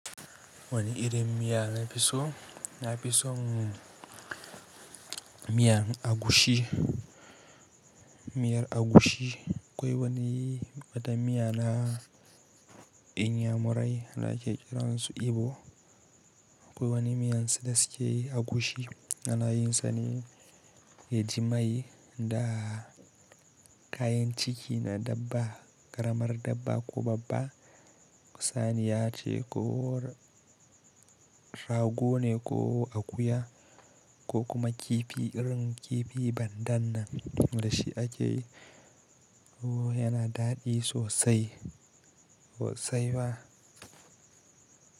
Wani irin miya na fi so? Na fi son miyan agushi. Miyar agushi. Akwai wani wata miya na inyamurai da ake kiransy Igbo. Akwai wani miyan su da suke yi agushi ana yin sa ne, ya ji mai da kayan ciki na dabba, ƙaramar dabba ko babba. Saniya ce ko rago ne ko akuya ko kuma kifi irin kifi bandan nan da shi ake yi. Yana daɗi sosai, sosaiwa.